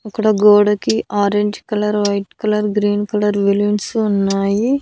అక్కడ గోడకి orange colour white colour green colour balloons ఉన్నాయి.